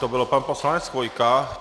To byl pan poslanec Chvojka.